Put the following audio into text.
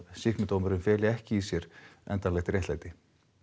sýknudómurinn feli ekki í sér endanlegt réttlæti